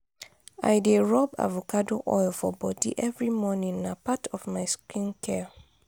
i dey rob avacado oil for bodi every morning na part of my skincare.